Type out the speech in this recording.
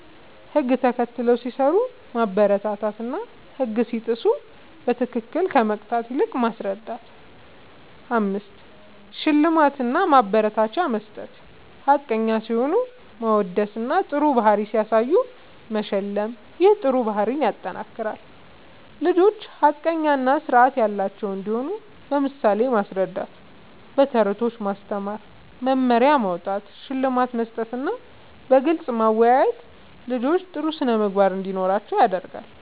ህግ ተከትለው ሲሰሩ ማበረታታትና ህግ ሲጥሱ በትክክል ከመቅጣት ይልቅ ማስረዳት ፬. ሽልማት እና ማበረታቻ መስጠት፦ ሐቀኛ ሲሆኑ ማወደስና ጥሩ ባህሪ ሲያሳዩ መሸለም ይህ ጥሩ ባህሪን ያጠናክራል። ልጆች ሐቀኛ እና ስርዓት ያላቸው እንዲሆኑ በምሳሌ ማስረዳት፣ በተረቶች ማስተማር፣ መመሪያ ማዉጣት፣ ሽልማት መስጠትና በግልጽ ማወያየት ልጆች ጥሩ ስነ ምግባር እንዲኖራቸዉ ያደርጋል